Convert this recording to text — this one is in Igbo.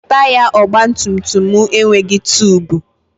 Taya ọgbatumtum m enweghị tubu.